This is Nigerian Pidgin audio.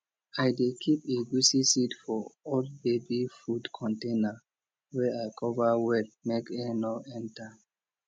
i dey keep egusi seed for old baby food container wey i cover well make air no enter